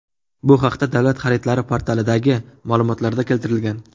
Bu haqda Davlat xaridlari portalidagi ma’lumotlarda keltirilgan.